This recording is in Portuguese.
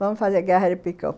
Vamos fazer guerra de picão.